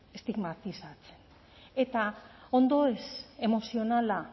estigmatizatzen eta ondoeza emozionala